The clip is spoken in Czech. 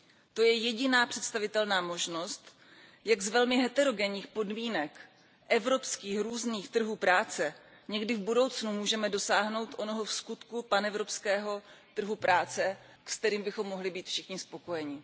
To je jediná představitelná možnost, jak z velmi heterogenních podmínek evropských různých trhů práce někdy v budoucnu můžeme dosáhnout onoho vskutku panevropského trhu práce, se kterým bychom mohli být všichni spokojeni.